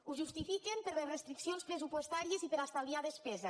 ho justifiquen per les restriccions pressupostàries i per estalviar despesa